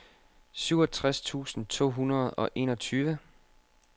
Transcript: syvogtres tusind to hundrede og enogtyve